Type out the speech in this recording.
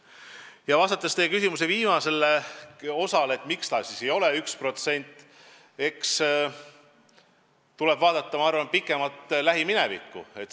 Aga vastates teie küsimuse viimasele osale, miks see näitaja ikkagi ei ole 1%, nendin, et eks tuleb vaadata minevikku.